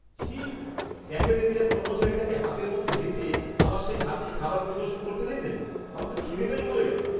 ছি, ক্যাফেটেরিয়ার কর্মচারীটাকে হাতের মধ্যে হেঁচে আবার সেই হাতেই খাবার পরিবেশন করতে দেখলে? আমার তো খিদেটাই মরে গেল।